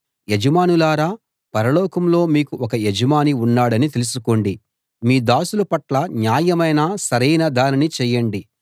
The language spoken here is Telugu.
యజమానులారా పరలోకంలో మీకు ఒక యజమాని ఉన్నాడని తెలుసుకోండి మీ దాసుల పట్ల న్యాయమైన సరైన దానిని చేయండి